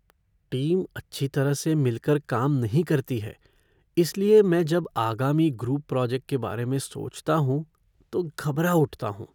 Team अच्छी तरह से मिल कर काम नहीं करती है इसलिये मैं जब आगामी ग्रुप प्रोजेक्ट के बारे में सोचता हूँ तो घबरा उठता हूँ।